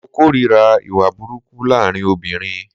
Mo kòrira ìwà burúkú laarin obìrin.